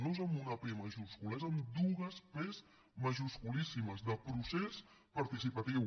no és amb una pe majúscula és amb dues pes majusculíssimes de procés participatiu